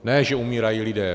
Ne že umírají lidé.